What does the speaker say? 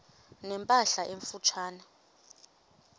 ne mpahla emfutshane